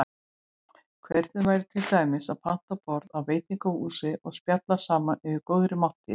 Hvernig væri til dæmis að panta borð á veitingahúsi og spjalla saman yfir góðri máltíð?